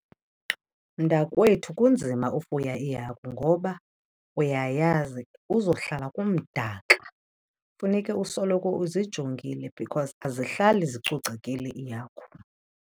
Mntakwethu, kunzima ufuya iihagu ngoba uyayazi kuzohlala kumdaka. Funeke usoloko uzijongile because azihlali zicocekile iihagu.